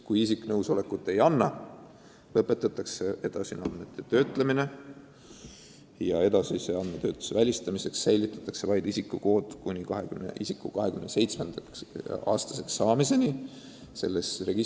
Kui nõusolekut ei anta, lõpetatakse edasine andmete töötlemine ja edasise andmetöötluse välistamiseks jääb registrisse kuni isiku 27-aastaseks saamiseni vaid tema isikukood.